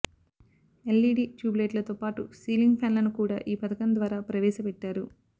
LED tube లైట్లతో పాటు ceiling ఫ్యాన్లను కూడా ఈ పథకం ద్వారా ప్రవేశపెట్టారు